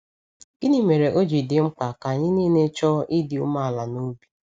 Gịnị mere ọ ji dị mkpa ka anyị niile chọọ ịdị umeala n’obi?